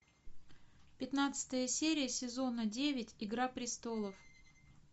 пятнадцатая серия сезона девять игра престолов